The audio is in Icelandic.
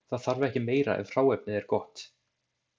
Það þarf ekki meira ef hráefnið er gott.